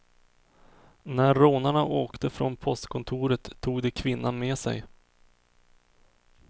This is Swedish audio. När rånarna åkte från postkontoret tog de kvinnan med sig.